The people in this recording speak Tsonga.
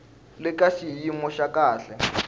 le ka xiyimo xa kahle